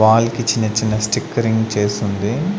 Wall కి చిన్న చిన్న స్టిక్కర్యింగ్ చేసి ఉంది.